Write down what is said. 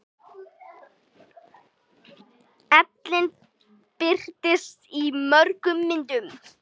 Ellin birtist í mörgum myndum.